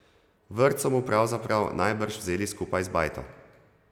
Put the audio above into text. Vrt so mu pravzaprav najbrž vzeli skupaj z bajto.